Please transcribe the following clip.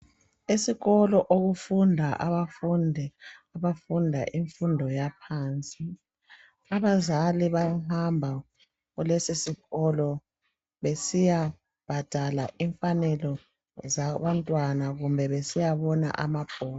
Esikolo okufunda abafundi abafunda imfundo yaphansi, abazali bayahamba kulesi sikolo besiyabhadala imfanelo zaba ntwana kumbe besiyabona amabhuku.